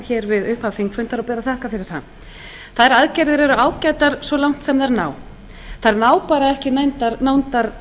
við upphaf þingfundar og ber að þakka fyrir það þær aðgerðir eru ágætar svo langt sem þær ná þær ná bara ekki nándar